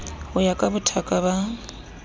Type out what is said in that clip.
ho ya ka bothaka ba